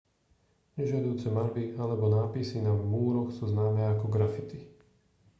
nežiaduce maľby alebo nápisy na múroch sú známe ako graffiti